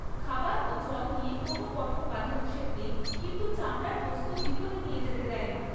খাবার ও জল নিয়ে কোনও কঠোর বাধা নিষেধ নেই কিন্তু চামড়ার বস্তু ভিতরে নিয়ে যেতে দেয় না।